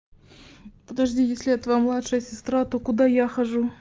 подожди если я твоя младшая сестра то куда я хожу